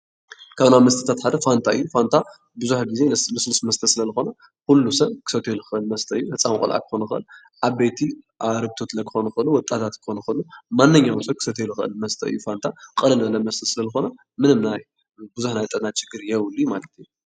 ካብ ናይ መስተታት ሓደ ፋንታ እዩ ። ፋንታ ብዙሕ ግዜ ለስሉስ መስተ ስለዝኮነ ኩሉ ሰብ ክሰትዮ ዝክእል መስተ እዩ። ህፃን ቆልዓ ክኮን ይክእል፣ ዓበይቲ ቆልዓ፣ ዓርግቶት ክኮን ይክእል፣ ወጣታት ቆልዓ ክኮን ይክእል እዩ። ማንኛውም ሰብ ክሰትዮ ዝክእል መስተ እዩ። ፋንታ ቅልል ዝበለ ልስሉስ መስተ ስለ ዝኮነ ፋንታ ምንም ብዙሕ ናይ ጥዕና ችግር የብሉን።